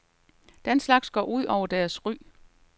Den slags går ud over deres ry.